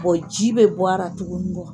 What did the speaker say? ji bɛ bɔ a ra tugunikɔ.